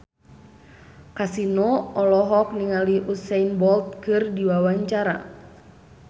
Kasino olohok ningali Usain Bolt keur diwawancara